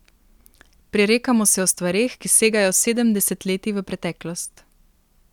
Prerekamo se o stvareh, ki segajo sedem desetletij v preteklost.